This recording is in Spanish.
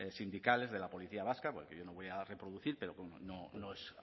sindicales de la policía vasca porque no voy a reproducir pero no es